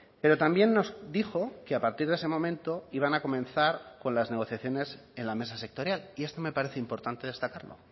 pero también nos dijo que a partir de ese momento iban a comenzar con las negociaciones en la mesa sectorial y esto me parece importante destacarlo